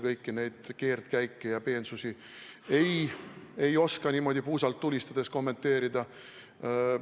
Kõiki neid keerdkäike ja peensusi ei oska ma niimoodi puusalt tulistades kommenteerida.